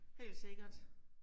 Helt sikkert